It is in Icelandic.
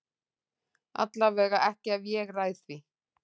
Allavega ekki ef ég ræð því.